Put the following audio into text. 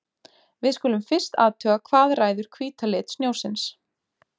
Við skulum fyrst athuga hvað ræður hvíta lit snjósins.